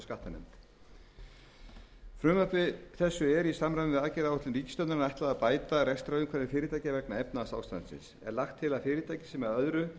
skattanefnd frumvarpi þessu er í samræmi við aðgerðaáætlun ríkisstjórnarinnar ætlað að bæta rekstrarumhverfi fyrirtækja vegna efnahagsástandsins er lagt til að fyrirtæki sem að öðru